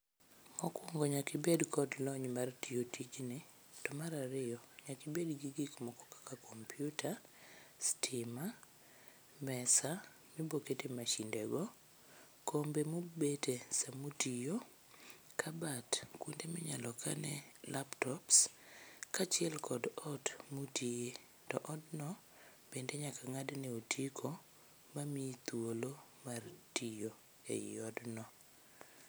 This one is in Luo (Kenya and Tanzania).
Mokwongo nyakibed kod lony mar tiyo tijni to mar ariyo nyakibed gi gikmoko kaka kompiuta, stima, mesa mibokete mashindego, kombe mubete samutiyo, kabat kuonde minyalo kane laptops kaachiel kod ot mutiye, to odno bende nyaka ng'adne otiko mamiyi thuolo mar tiyo e i odno.